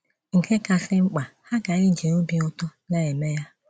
Nke kásị́ mkpa, ha ga - eji òbì ụtọ na - eme ya.